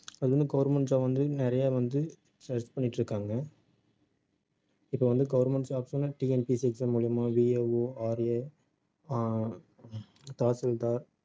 அது வந்து government job வந்து நிறைய வந்து select பண்ணிட்டு இருக்காங்க இப்ப வந்து government jobs ல TNPSC exam மூலியமா VAORA ஆஹ் தாசில்தார்